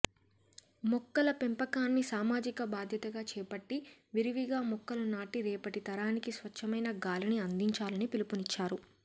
మొక్కల పెంపకాన్ని సామాజిక బాధ్యతగా చేపట్టి విరివిగా మొక్కలు నాటి రేపటి తరానికి స్వచ్ఛమైన గాలిని అందించాలని పిలుపునిచ్చారు